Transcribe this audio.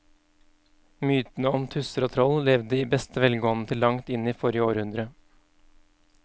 Mytene om tusser og troll levde i beste velgående til langt inn i forrige århundre.